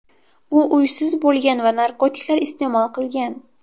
U uysiz bo‘lgan va narkotiklar iste’mol qilgan.